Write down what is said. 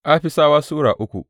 Afisawa Sura uku